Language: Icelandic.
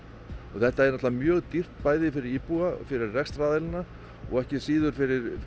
og þetta er auðvitað mjög dýrt bæði fyrir íbúana rekstraraðilana og ekki síður fyrir